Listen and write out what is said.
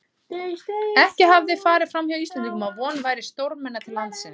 Ekki hafði farið framhjá Íslendingum, að von væri stórmenna til landsins.